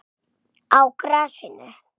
Á grasinu?